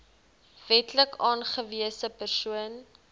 wetlik aangewese persoon